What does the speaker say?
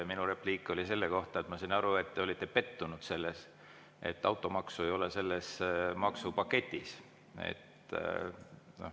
Minu repliik oli selle kohta, et ma sain aru, et te olite pettunud, et automaksu selles maksupaketis ei ole.